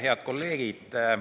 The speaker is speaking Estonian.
Head kolleegid!